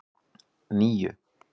níu